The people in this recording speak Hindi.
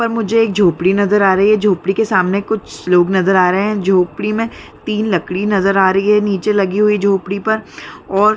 यहाँ पर मुझे एक झोपडी नजर आ रही है झोपडी के सामने कुछ लोग नजर आ रहे है झोपडी में तीन लकड़ी नजर आ रही है नीचे लगी हुई झोपडी पर और--